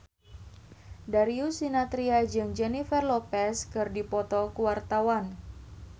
Darius Sinathrya jeung Jennifer Lopez keur dipoto ku wartawan